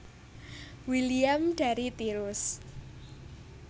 William dari Tirus